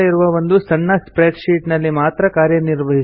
ಆದರೆ ಒಂದು ವೇಳೆ ತುಂಬಾ ಶೀಟ್ ಗಳು ಇದ್ದರೆ ತೊಡಕಾಗುತ್ತದೆ